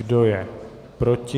Kdo je proti?